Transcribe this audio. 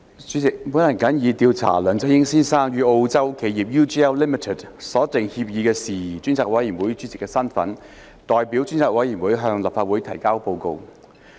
主席，我謹以調査梁振英先生與澳洲企業 UGL Limited 所訂協議的事宜專責委員會主席的身份，代表專責委員會向立法會提交報告。